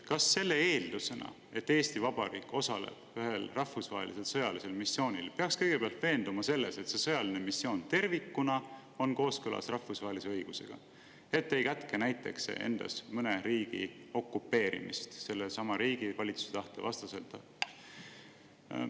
Kas selle eeldusena, et Eesti Vabariik osaleb ühel rahvusvahelisel sõjalisel missioonil, peaks kõigepealt veenduma selles, et see sõjaline missioon tervikuna on kooskõlas rahvusvahelise õigusega, et see näiteks ei kätke endas mõne riigi okupeerimist sellesama riigi valitsuse tahte vastaselt?